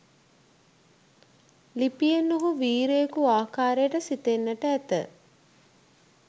ලිපියෙන් ඔහු වීරයකු ආකාරයට සිතෙන්නට ඇත.